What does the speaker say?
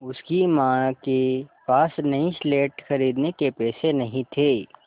उसकी माँ के पास नई स्लेट खरीदने के पैसे नहीं थे